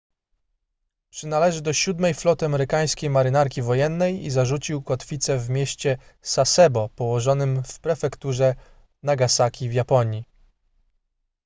przynależy do siódmej floty amerykańskiej marynarki wojennej i zarzucił kotwicę w mieście sasebo położonym w prefekturze nagasaki w japonii